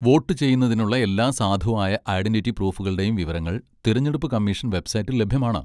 Vote ചെയ്യുന്നതിനുള്ള എല്ലാ സാധുവായ ഐഡന്റിറ്റി പ്രൂഫുകളുടെയും വിവരങ്ങൾ തിരഞ്ഞെടുപ്പ് കമ്മീഷൻ വെബ്സൈറ്റിൽ ലഭ്യമാണ്.